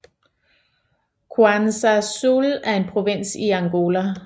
Cuanza Sul er en provins i Angola